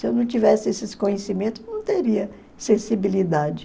Se eu não tivesse esses conhecimentos, não teria sensibilidade.